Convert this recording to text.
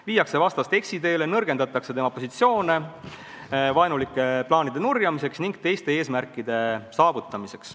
Viiakse vastast eksiteele, nõrgendatakse tema positsioone vaenulike plaanide nurjamisel ning teiste eesmärkide saavutamisel.